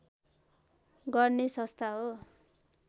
गर्ने संस्था हो